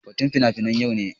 Batun fina-finai yau ne